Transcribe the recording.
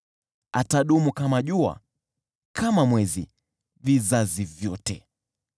Atadumu kama jua lidumuvyo, kama mwezi, vizazi vyote.